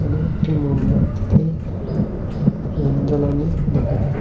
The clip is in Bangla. একটি মোমবাতিতে মোম জ্বালানো দেখা যাচ--